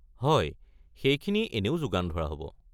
হয়, সেইখিনি এনেও যোগান ধৰা হ'ব।